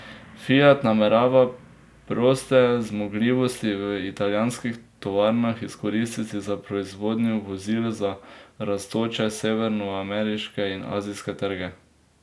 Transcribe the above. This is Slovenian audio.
Fiat namerava proste zmogljivosti v italijanskih tovarnah izkoristiti za proizvodnjo vozil za rastoče severnoameriške in azijske trge.